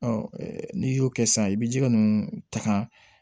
n'i y'o kɛ sisan i bɛ ji ninnu ta ka